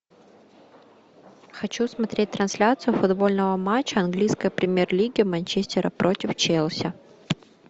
хочу смотреть трансляцию футбольного матча английской премьер лиги манчестера против челси